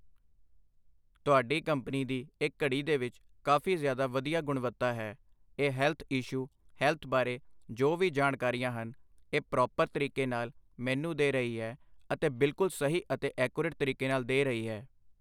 ਤੁਹਾਡੀ ਕੰਪਨੀ ਦੀ ਇਹ ਘੜੀ ਦੇ ਵਿੱਚ ਕਾਫ਼ੀ ਜ਼ਿਆਦਾ ਵਧੀਆ ਗੁਣਵੱਤਾ ਹੈ, ਇਹ ਹੈਲਥ ਇਸ਼ੂ ਹੈਲਥ ਬਾਰੇ, ਜੋ ਵੀ ਜਾਣਕਾਰੀਆਂ ਹਨ, ਇਹ ਪਰੌਪਰ ਤਰੀਕੇ ਨਾਲ਼ ਮੈਨੂੰ ਦੇ ਰਹੀ ਹੈ ਅਤੇ ਬਿਲਕੁੱਲ ਸਹੀ ਅਤੇ ਐਕੋਰੇਟ ਤਰੀਕੇ ਨਾਲ਼ ਦੇ ਰਹੀ ਹੈ